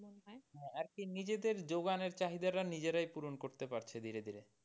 হ্যাঁ আরকি নিজেদের যোগান এর চাহিদা টা নিজেরাই পুরন করতে পারছে ধীরে ধীরে।